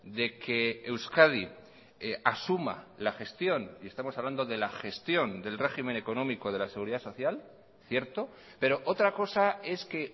de que euskadi asuma la gestión y estamos hablando de la gestión del régimen económico de la seguridad social cierto pero otra cosa es que